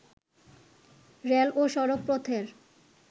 rail ও সড়ক পথের